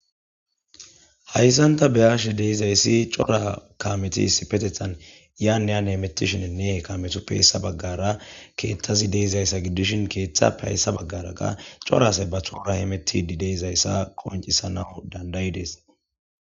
Hayssanta beyashe deizayssi cora kametis petethan yaaeyan hemettishininne kametupphayssa baggara keeththazi deizayssa giddishin keeththa pehayssa baggaraga corase bahuura hemetidi deizayssa qoncisana dandayi deessa.